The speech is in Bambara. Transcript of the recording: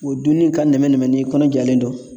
O dunni ka nɛmɛ nɛnɛ n'i kɔnɔ jalen don.